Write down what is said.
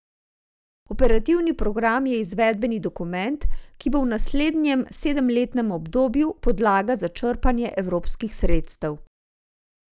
Operativni program je izvedbeni dokument, ki bo v naslednjem sedemletnem obdobju podlaga za črpanje evropskih sredstev.